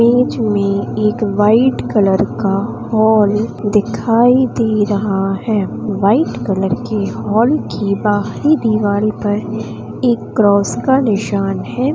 बीच में एक white colour का हॉल दिखाई दे रहा है वाइट कलर के हाल की बाहरी दीवाल पर एक क्रॉस का निशान है।